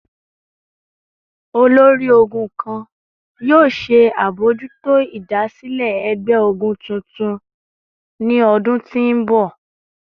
Olori-ogun kan yoo ṣe abojuto idasile ẹgbẹ-ogun tuntun ni ọdun ti n bọ